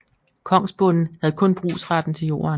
Kongsbonden havde kun brugsretten til jorden